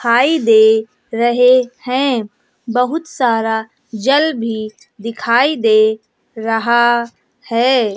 रहे हैं बहुत सारा जल भी दिखाई दे रहा है।